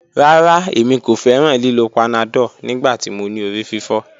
Rara, Emi ko fẹran lilo panadol nigbati mo ni orififo.